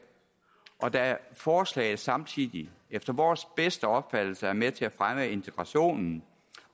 og da forslaget samtidig efter vores bedste opfattelse er med til at fremme integrationen